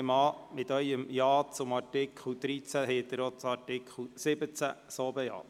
Ich nehme an, mit Ihrem Ja zum Antrag zu Artikel 13 haben Sie auch den Antrag zu Artikel 17 bejaht.